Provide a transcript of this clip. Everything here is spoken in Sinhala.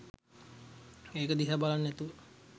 ඒක දිහා බලන් නැතුව